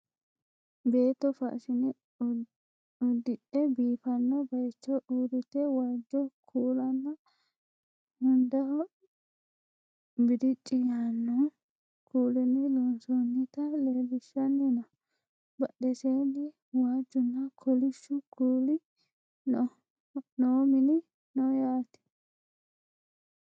beetto faashine uddidhe biifanno bayeecho uurrite waajjo kuulanna hundaho bilicci yaaanno kuulinni loonsoonnita leellishshanni no badheseenni waajjunna kolishshu kuulio noo min no yaate